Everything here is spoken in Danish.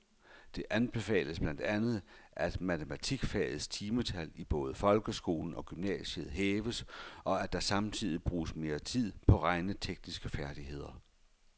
Det anbefales blandt andet, at matematikfagets timetal i både folkeskolen og gymnasiet hæves, og at der samtidig bruges mere tid på regnetekniske færdigheder.